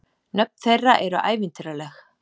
Nöfn þeirra eru ævintýraleg.